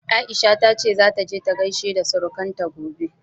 Aisha ta ce zata je ta gaishe da surukanta gobe.